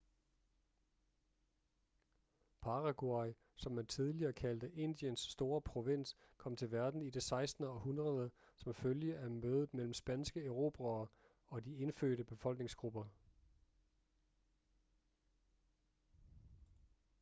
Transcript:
paraguay som man tidligere kaldte indiens store provins kom til verden i det 16. århundrede som følge af mødet mellem spanske erobrere og de indfødte befolkningsgrupper